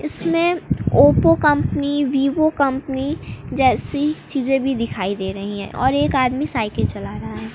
इसमें Oppo company Vivo company जैसी चीजें भी दिखाई दे रही है और एक आदमी साइकिल चला रहा--